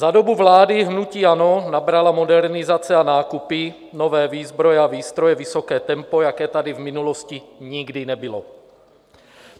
Za dobu vlády hnutí ANO nabrala modernizace a nákupy nové výzbroje a výstroje vysoké tempo, jaké tady v minulosti nikdy nebylo.